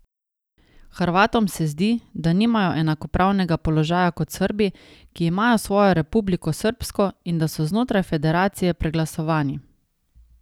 Hrvatom se zdi, da nimajo enakopravnega položaja kot Srbi, ki imajo svojo Republiko srbsko, in da so znotraj federacije preglasovani.